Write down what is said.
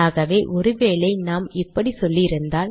ஆகவே ஒரு வேளை நாம் இப்படி சொல்லி இருந்தால்